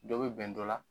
Dɔ bɛ bɛn dɔ la